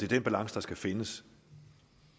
den balance der skal findes